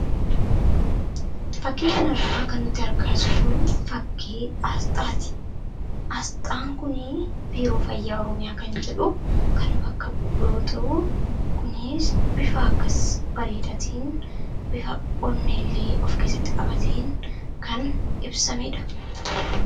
Fakkii kanarraa kan nuti argaa jirru fakkii aasxaati. Aasxaan kuni biiroo fayyaa Oromiyaa kan jedhu kan bakka bu’u yoo ta’u, kunis bifa akkas bareedaa ta'een, bifa onnee illee of keessatti qabateen kan ibsameedha.